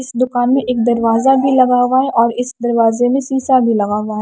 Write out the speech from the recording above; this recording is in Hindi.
इस दुकान में एक दरवाजा भी लगा हुआ है और इस दरवाजे में शीशा भी लगा हुआ--